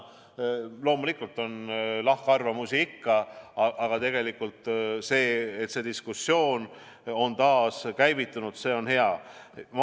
Loomulikult on lahkarvamusi ikka, aga see, et diskussioon on taas käivitunud, on hea.